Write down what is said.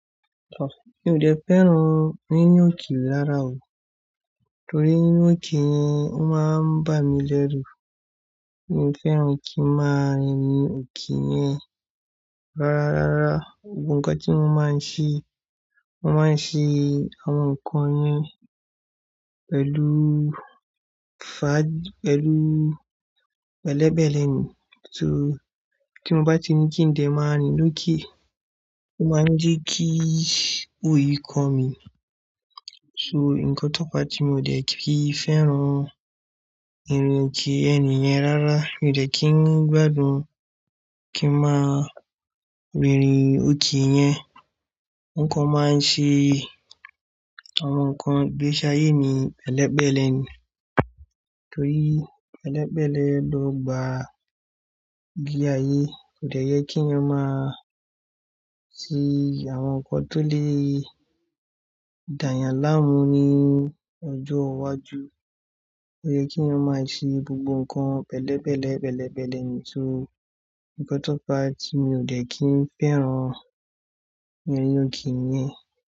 Mi ò dẹ fẹ́ràn rírin òkère rára o. Torí rírin òkè yẹn, ó máa ń bà mí lẹ́rù. Mi ò fẹ́ràn kí n máa rìn òkè yẹn rárá. Rárá, gbogbo nǹkan tí mo máa ń ṣe, mo máa ń ṣe àwọn nǹkan yẹn pẹ̀lú fà-- pẹ̀lú pẹ̀lẹ́pẹ̀lẹ́ ni. So tí mo bá ti ní kí n dẹ̀ máa rìn lóké, ó máa ń jẹ́ kí òyì ko mi. So nǹkan tó fa tí mi ò dẹ kí n fẹ́ràn írin òkè yen niyẹn rárá. Mi ò dẹ kí n gbádùn kí n máa rìnrin òkè yẹn. Nǹkan máa ń ṣe àwọn nǹkan gbéṣá ayé ni pẹ̀lẹ́pẹ̀lẹ́ ni. Torí pẹ̀lẹ́pẹ̀lẹ́ ló gba ile ayé. Kò dẹ yẹ kí eeyan máa ṣe àwọn nǹkan tó lè dàyàn láàmú ní ọjọ́ iwájú. Ó yẹ kí eeyan máa ṣe gbogbo nǹkan pẹ̀lẹ́pẹ̀lẹ́, pẹ̀lẹ́pẹ̀lẹ́ ni. So nǹkan tó fa tí mi ò dẹ kí n fẹ́ràn rírin òkè niyẹn.